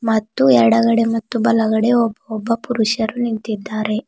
ಮತ್ತು ಎಡಗಡೆ ಮತ್ತು ಬಲಗಡೆ ಒಬ್ಬೊಬ್ಬ ಪುರುಷರು ನಿಂತಿದ್ದಾರೆ.